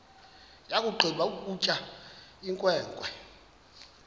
yakugqiba ukutya inkwenkwe